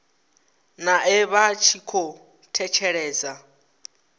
nae vha tshi khou thetshelesa